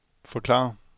forklare